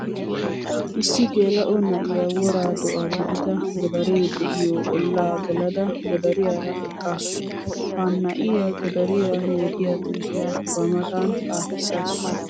Issi geela'o na'iya wora do'a gididda godare de'iyo ollaa geladda godariyaara eqqassu. Ha na'iya godariya yootiya xuufiya ba matan xaafisaassu.